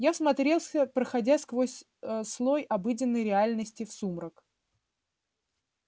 я всмотрелся проходя сквозь а слой обыденной реальности в сумрак